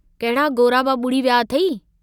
कहिड़ा गोराबा बुडी विया अथेई?